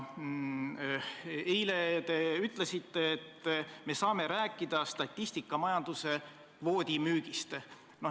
Eile te ütlesite, et me saame rääkida statistikamajanduse kvoodi müügist.